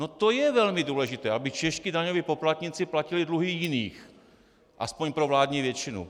No to je velmi důležité, aby čeští daňoví poplatníci platili dluhy jiných - aspoň pro vládní většinu.